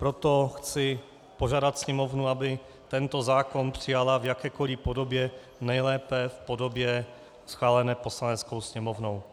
Proto chci požádat Sněmovnu, aby tento zákon přijala v jakékoli podobě, nejlépe v podobě schválené Poslaneckou sněmovnou.